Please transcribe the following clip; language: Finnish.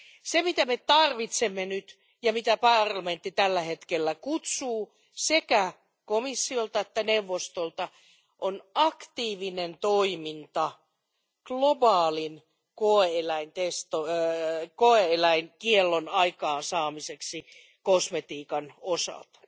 Se, mitä me tarvitsemme nyt ja mitä parlamentti tällä hetkellä pyytää sekä komissiolta että neuvostolta, on aktiivinen toiminta globaalin koe eläinkiellon aikaansaamiseksi kosmetiikan osalta.